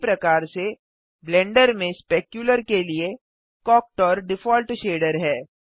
उसी प्रकार से ब्लेंडर में स्पेक्युलर के लिए कुक्टर डिफ़ॉल्ट शेडर है